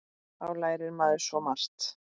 Þá lærir maður svo margt.